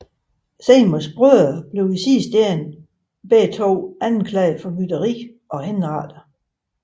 Seymour brødrene blev i sidste ende begge anklaget for forræderi og henrettet